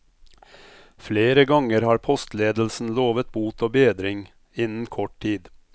Flere ganger har postledelsen lovet bot og bedring innen kort tid.